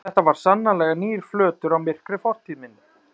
Þetta var sannarlega nýr flötur á myrkri fortíð minni.